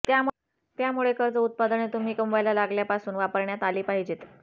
त्यामुळे कर्ज उत्पादने तुम्ही कमवायला लागल्यापासून वापरण्यात आली पाहिजेत